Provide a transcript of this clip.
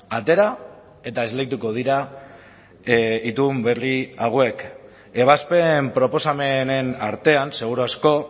atera eta esleituko dira itun berri hauek ebazpen proposamenen artean seguru asko